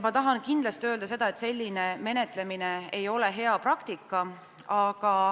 Ma tahan kindlasti öelda seda, et selline menetlemine ei ole hea praktika.